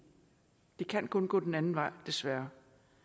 det kan kun gå den anden vej desværre